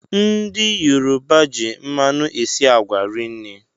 Ndị Yoruba ji mmanụ esi agwa rinne